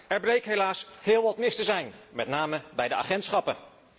Er bleek helaas heel wat mis te zijn, met name bij de agentschappen.